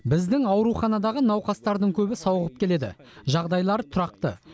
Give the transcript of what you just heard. біздің ауруханадағы науқастардың көбі сауығып келеді жағдайлары тұрақты